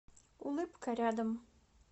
улыбка рядом